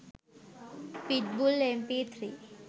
pit bull mp3